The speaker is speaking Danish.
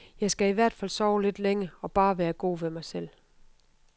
Jeg skal i hvert fald sove lidt længe og bare være god ved mig selv.